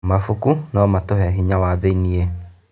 Mabuku no matũhe hinya wa thĩiniĩ.